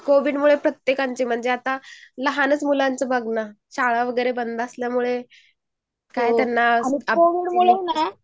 कोविडमुळे सगळ्यांनाच आता शाळा वगैरे बंद असल्यामुळे. काहीपण आता अभ्यास